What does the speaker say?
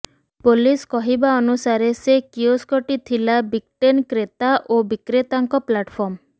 police କହିବା ଅନୁସାରେ ସେ କିଓସ୍କଟି ଥିଲା ବିଟ୍କଏନ୍ କ୍ରେତା ଓ ବିକ୍ରେତାଙ୍କ ପ୍ଲାଟ୍ଫର୍ମ